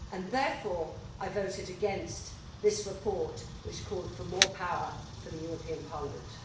Therefore, I voted against this report, which called for more power for the European Parliament.